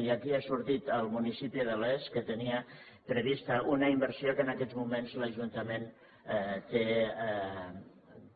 i aquí ha sortit el municipi de les que tenia prevista una inversió que en aquest moment l’ajuntament té